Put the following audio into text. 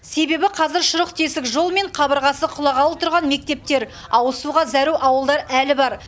себебі қазір шұрық тесік жол мен қабырғасы құлағалы тұрған мектептер ауызсуға зәру ауылдар әлі бар